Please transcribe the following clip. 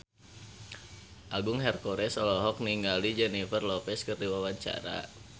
Agung Hercules olohok ningali Jennifer Lopez keur diwawancara